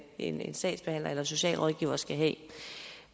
en sagsbehandler eller socialrådgiver skal have